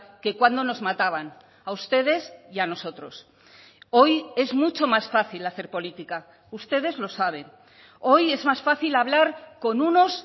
que cuando nos mataban a ustedes y a nosotros hoy es mucho más fácil hacer política ustedes lo saben hoy es más fácil hablar con unos